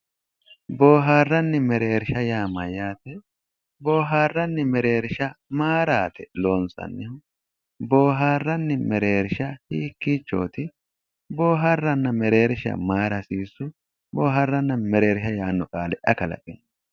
Boohaarranni mereershsha yaa mayyaate? Boohaarranni mereershsha maayiiraati isi loonsannihu? Boohaarranni mereershsha hiikkichooti? Boohaarranni mereershsha maayiira hasiissu? Boohaarranni mereershsha yaanno qaale ayi kalaqewo?